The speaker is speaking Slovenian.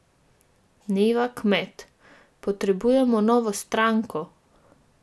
Neva Kmet: "Potrebujemo novo stranko?